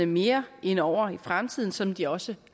mere ind over i fremtiden som de også